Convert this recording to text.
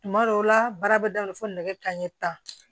Tuma dɔw la baara bɛ daminɛ fo nɛgɛ kanɲɛ tan